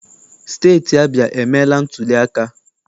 Steeti Abịa emeela ntuliaka.